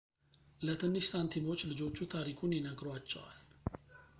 ለትንሽ ሳንቲሞች ልጆቹ ታሪኩን ይነግሯቸዋል